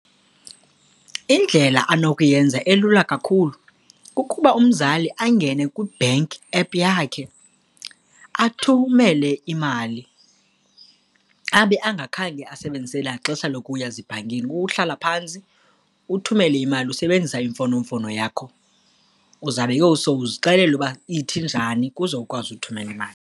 Indlela anokuyenza elula kakhulu kukuba umzali angene kwi-bank app yakhe, athumele imali abe angakhange asebenzise naxesha lokuya ezibhankini. Uhlala phantsi, uthumele imali usebenzisa imfonomfono yakho, uzawube ke ngoku sewuzixelele uba ithi njani kuze ukwazi uthumela imali.